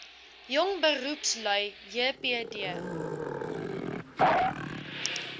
jong beroepslui jbp